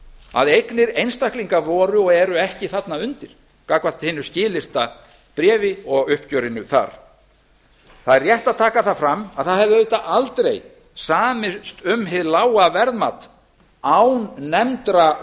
að eignir einstaklinga voru og eru ekki þarna undir gagnvart hinu skilyrta bréfi og uppgjörinu þar það er rétt að taka það fram að það hefði auðvitað aldrei samist um hið lága verðmat án nefndra